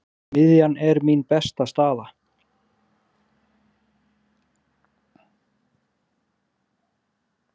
Miðjan er mín besta staða.